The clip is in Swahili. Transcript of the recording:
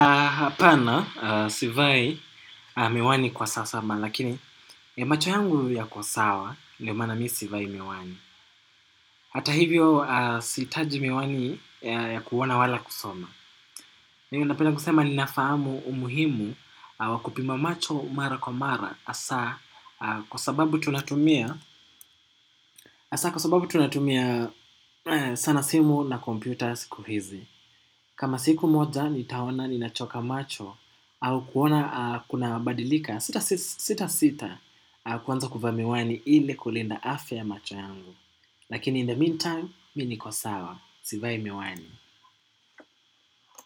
Hapana, sivai miwani kwa sasa, lakini macho yangu yako sawa, ndiyo maana mimi sivai miwani. Hata hivyo, sitaji miwani ya kuona wala kusoma. Mimi napenda kusema ninafahamu umuhimu wa kupima macho mara kwa mara. Hasa kwa sababu tunatumia sana simu na kompyuta siku hizi. Kama siku moja nitaona ninachoka macho au kuona kunabadilika, sita sita sita kuanza kuvaa miwani ili kulinda afya ya macho yangu. Lakini in the meantime, mimi niko sawa. Sivai miwani.